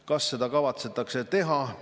Kas seda kavatsetakse teha?